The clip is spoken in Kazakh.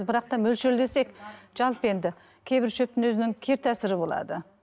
бірақ та мөлшерлесек жалпы енді кейбір шөптің өзінің кері болады